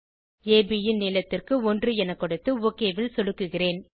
அப் ன் நீளத்திற்கு 1 என கொடுத்து ஒக் ல் சொடுக்குகிறேன்